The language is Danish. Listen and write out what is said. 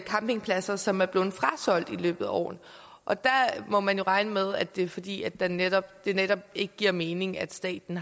campingpladser som er blevet frasolgt i løbet af årene og der må man jo regne med det er fordi det netop det netop ikke giver mening at staten